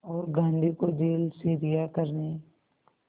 और गांधी को जेल से रिहा करने